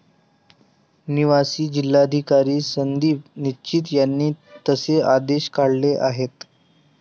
निवासी जिल्हाधिकारी संदीप निचित यांनी तसे आदेश काढले आहेत.